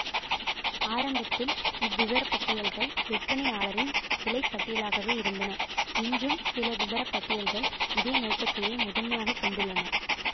ஆரம்பத்தில் இவ்விபரப்பட்டியல்கள் விற்பனையாளரின் விலை பட்டியலாகவே இருந்தன இன்றும் சில விபரப்பட்டியல்கள் இதே நோக்கத்தையே முதன்மையாக கொண்டுள்ளன